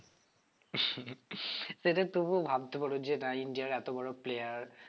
সেটা তবুও ভাবতে পারো যে না ইন্ডিয়ার এত বড় player